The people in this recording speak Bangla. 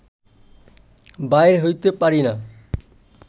বাইর হইতে পারিনা